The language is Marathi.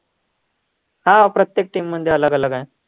हा प्रत्येक team मध्ये अलग अलग आहे